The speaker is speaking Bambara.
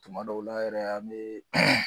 Tuma dɔw la yɛrɛ an me